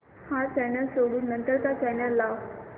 हा चॅनल सोडून नंतर चा चॅनल लाव